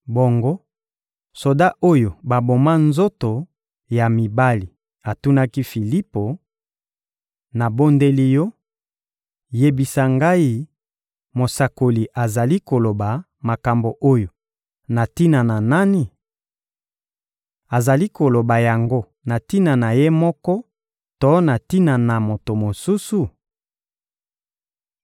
Bongo, soda oyo baboma nzoto ya mibali atunaki Filipo: — Nabondeli yo, yebisa ngai: mosakoli azali koloba makambo oyo na tina na nani? Azali koloba yango na tina na ye moko to na tina na moto mosusu?